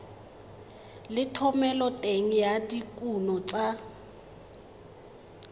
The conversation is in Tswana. le thomeloteng ya dikuno tsa